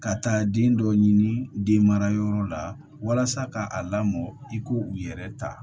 Ka taa den dɔ ɲini den mara yɔrɔ la walasa ka a lamɔ i ko u yɛrɛ ta